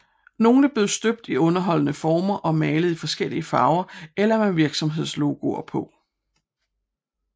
Nogle bliver støbt i underholdende former og malet i forskellige farver eller med virksomhedslogoer på